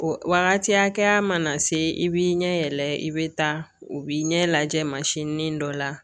O wagati hakɛya mana se i b'i ɲɛ yɛlɛ i bɛ taa o b'i ɲɛ lajɛ masini dɔ la